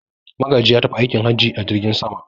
Magaji ya tafi aikin haji a jirgin sama.